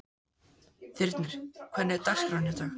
Þyrnir, hvernig er dagskráin í dag?